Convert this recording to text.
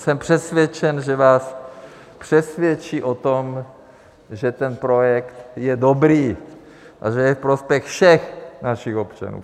Jsem přesvědčen, že vás přesvědčí o tom, že ten projekt je dobrý a že je ve prospěch všech našich občanů.